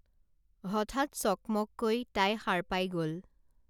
হঠাৎ চকমককৈ তাই সাৰ পাই গল